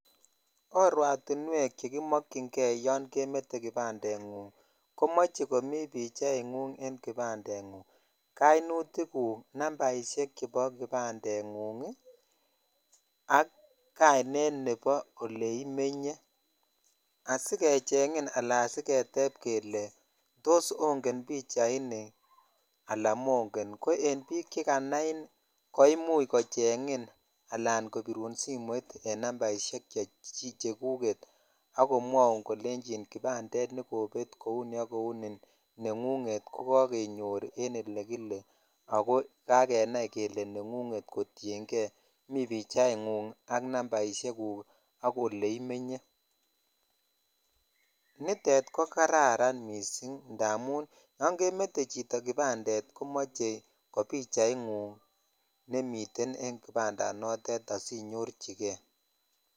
Oratinwek chekimokchingee yon kemete kipandengung komoche komi pichaingung en kipandengung, koinutikuk, nambaidhek chebo kipandengung ii ak kainet nebo oleimenye asikechengin ala asikecheng kele tos onge pichaini alan mongen, ko en bik chekanain koimuch kochengin alan kobirun simoit ii en nambaishek cheguket ak komwoun kolenjin kipandet nekobet kouni ok kouneni nengunet kokokonyor en elekile ako kakenai kele nengunget kotiengee mi pichaingung ak nambaishekuk ak oleimenye, nitet kokararan missing' ndamun yon kemete chito kipandet komoche kopichaingung nemiten en kipandanotet asinyorjigee.